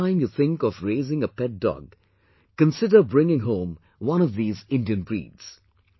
The next time you think of raising a pet dog, consider bringing home one of these Indian breeds